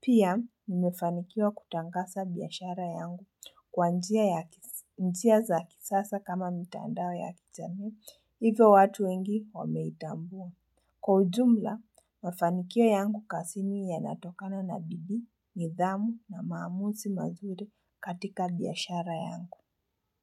Pia, nimefanikiwa kutangasa biashara yangu kwa njia ya kisa za kisasa kama mitandao ya kijamii. Hivyo watu wengi wameitambua. Kwa ujumla, mfanikio yangu kasini yanatokana na bidii, nidhamu na maamuzi mazuri katika biashara yangu.